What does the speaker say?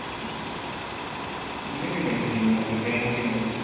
ମୁ ବି ନାଇଁ ଥିବି ଗୋଟେ bank କି ନାଇଥିବି